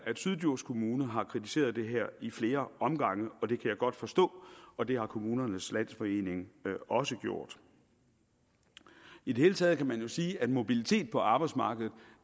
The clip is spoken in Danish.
at syddjurs kommune har kritiseret det her i flere omgange og det kan jeg godt forstå og det har kommunernes landsforening også gjort i det hele taget kan man sige at mobilitet på arbejdsmarkedet